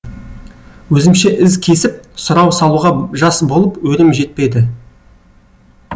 өзімше із кесіп сұрау салуға жас болып өрем жетпеді